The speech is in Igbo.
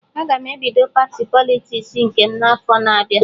Aga m ebido pati Politiks nke m n'afọ na-abịa